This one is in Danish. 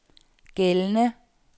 gældende